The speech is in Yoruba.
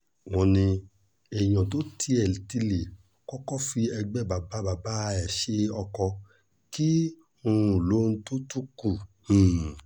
wọ́n ní èèyàn tó tiẹ̀ ti lè kọ́kọ́ fi ẹgbẹ́ bàbá bàbá ẹ̀ ṣe ọkọ kí um lohun tó tún kù um